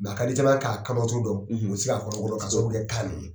Mais a ka di caman ye k'a kabaton dɔn mais u tɛ se ka kɔnɔ ka sabu kɛ kan ni ye